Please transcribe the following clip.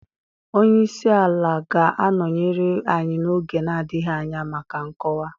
Onye isi ala ga-anọnyere anyị n'oge na-adịghị anya maka nkọwa.